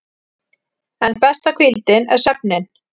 En besta hvíldin er svefninn.